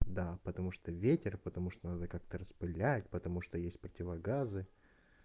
да потому что ветер потому что надо как-то распылять потому что есть противогазы